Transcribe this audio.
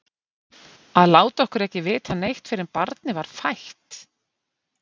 Að láta okkur ekki vita neitt fyrr en barnið var fætt!